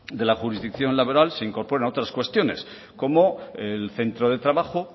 de la jurisdicción laboral se incorpora otras cuestiones como el centro de trabajo